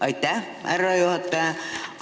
Aitäh, härra juhataja!